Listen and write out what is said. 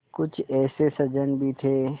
कुछ ऐसे सज्जन भी थे